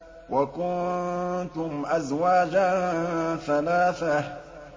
وَكُنتُمْ أَزْوَاجًا ثَلَاثَةً